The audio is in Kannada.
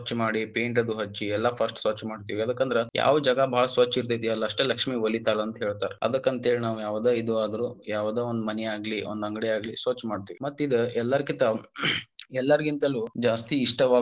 ಸ್ವಚ್ಛ ಮಾಡಿ paint ಅದು ಹಚ್ಚಿ ಎಲ್ಲಾ first ಸ್ವಚ್ಛ ಮಾಡ್ತಿವಿ ಎದ್ಕಂದರ ಯಾವ ಜಾಗಾ ಬಾಳ ಸ್ವಚ್ಛ ಇರತೇತಿ ಅಲ್ಲ ಅಷ್ಟ ಲಕ್ಷ್ಮಿ ವಲೀತಾಳಂತ ಹೇಳ್ತಾರ ಅದಕ್ಕಂತ ಹೇಳಿ ನಾವ ಯಾವದ ಇದು ಆದ್ರೂ ಯಾವದ ಒಂದ ಮನಿಯಾಗಲಿ ಒಂದ ಅಂಗಡಿಯಾಗ್ಲಿ ಸ್ವಚ್ಛ ಮಾಡ್ತೇವಿ ಮತ್ತ ಇದ ಎಲ್ಲರಕ್ಕಿಂತ ಎಲ್ಲಾರಗಿಂತಲು ಜಾಸ್ತಿ ಇಷ್ಟವಾಗೊ.